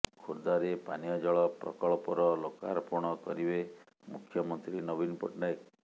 ଖୋର୍ଦ୍ଧାରେ ପାନୀୟ ଜଳ ପ୍ରକଳ୍ପର ଲୋକାର୍ପଣ କରିବେ ମୁଖ୍ୟମନ୍ତ୍ରୀ ନବୀନ ପଟ୍ଟନାୟକ